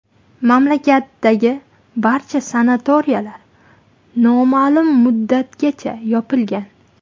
Mamlakatdagi barcha sanatoriylar noma’lum muddatgacha yopilgan .